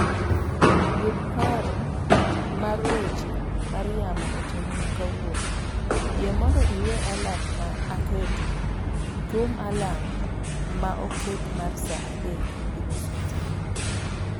yud paro mar ng'wech mar yamo otieno ma kawuono. Yie mondo iwe alarm ma aketo. thum alarm ma oket mar saa adek gi nus otieno